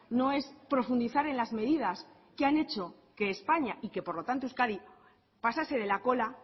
no es profundizar en las medidas que han hecho que españa y que por lo tanto euskadi pasase de la cola